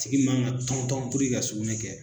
Tigi man ka tɔntɔn ka sugunɛ kɛ